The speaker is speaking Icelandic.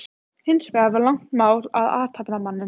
Hins vegar var langt mál um athafnamanninn